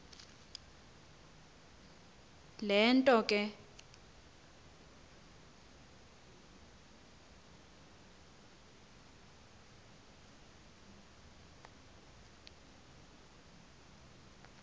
le nto ke